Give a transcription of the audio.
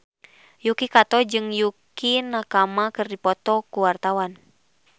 Yuki Kato jeung Yukie Nakama keur dipoto ku wartawan